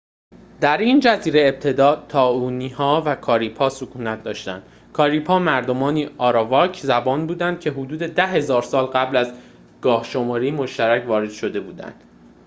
در این جزیره ابتدا تائینوها و کاریب‌ها سکونت داشتند کاریب‌ها مردمانی آراواک زبان بودند که حدود ۱۰,۰۰۰ سال قبل از گاه‌شماری مشترک وارد شده بودند